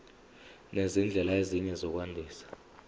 nezindlela ezinye zokwandisa